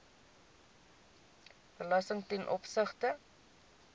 belasting ten opsigte